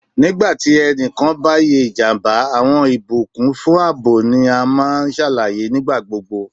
Nigba ti ẹnikan ba ye ijamba, awọn ibukun fun aabo ni a maa n ṣalaye nigbagbogbo